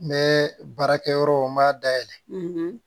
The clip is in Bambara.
N bɛ baarakɛyɔrɔ n m'a dayɛlɛ